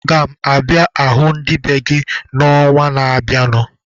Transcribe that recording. Aga m abịa hụ ndị be gị n'ọnwa na-abịanụ.